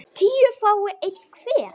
tíu fái einn hver